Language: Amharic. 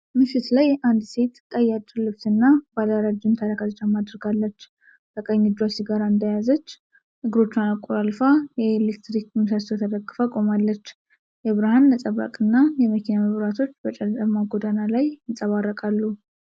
ምሽት ላይ አንድ ሴት ቀይ አጭር ልብስና ባለረጅም ተረከዝ ጫማ አድርጋለች። በቀኝ እጇ ሲጋራ እንደያዘች፣ እግሮቿን አቆላልፋ የኤሌክትሪክ ምሰሶ ተደግፋ ቆማለች። የብርሃን ነፀብራቅና የመኪና መብራቶች በጨለማ ጎዳና ላይ ይንጸባረቃሉ።